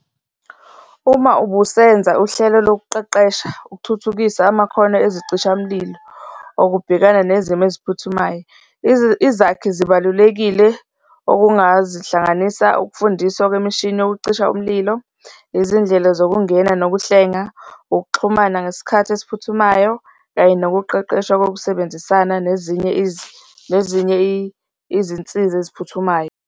Uma ubusenza uhlelo lokuqeqesha ukuthuthukisa amakhono ezicishamlilo okubhekana nezimo eziphuthumayo, izakhi zibalulekile okungazihlanganisa ukufundiswa kwemishini yokucisha umlilo, izindlela zokungena nokuhlenga, ukuxhumana ngesikhathi esiphuthumayo kanye nokuqeqeshwa kokusebenzisana nezinye nezinye izinsiza eziphuthumayo.